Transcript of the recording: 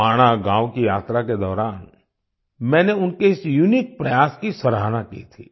माणा गांव की यात्रा के दौरान मैंने उनके इस यूनिक प्रयास की सराहना की थी